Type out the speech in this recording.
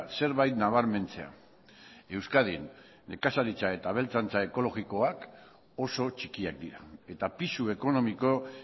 zerbait nabarmentzea euskadin nekazaritza eta abeltzaintza ekologikoak oso txikiak dira eta pisu ekonomiko